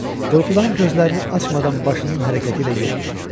Qorxudan gözlərini açmadan başının hərəkəti ilə yox dedi.